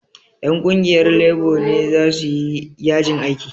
Ƴan ƙungiyar lebo ne za su yi yajin aiki